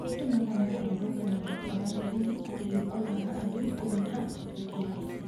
Andũ magana kũrũrũngana thutha wa thigari areu kũũraga andũ ikũmi na atatũ DRC.